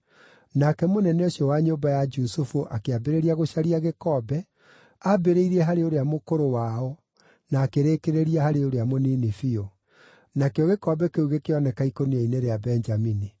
Nake mũnene ũcio wa nyũmba ya Jusufu akĩambĩrĩria gũcaria gĩkombe, ambĩrĩirie harĩ ũrĩa mũkũrũ wao na akĩrĩkĩrĩria harĩ ũrĩa mũnini biũ. Nakĩo gĩkombe kĩu gĩkĩoneka ikũnia-inĩ rĩa Benjamini.